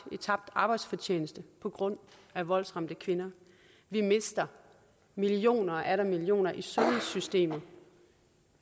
tabt arbejdsfortjeneste på grund af voldsramte kvinder vi mister millioner og atter millioner i sundhedssystemet